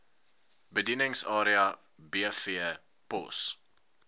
bedieningsarea bv pos